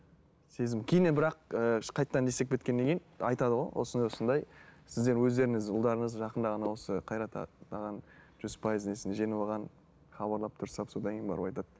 сезім кейіннен бірақ ыыы қайтадан не істеп кеткеннен кейін айтады ғой осындай осындай сіздер өздеріңіз ұлдарыңыз жақында ғана осы жүз пайыз несін жеңіп алған хабарлап дұрыстап содан кейін барып айтады